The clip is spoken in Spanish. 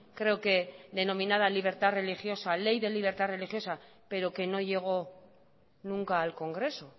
creo que denominada libertad religiosa ley de libertad religiosa pero que no llegó nunca al congreso